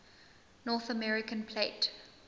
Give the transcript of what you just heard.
north american plate